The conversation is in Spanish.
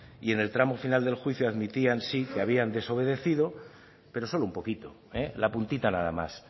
y en el tramo final del juicio admitían sí que habían desobedecido pero solo un poquito la puntita nada más